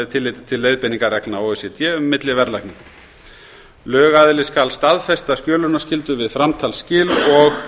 tilliti til leiðbeiningarreglna o e c d um milliverðlagningu lögaðili skal staðfesta skjölunarskyldu við framtalsskil og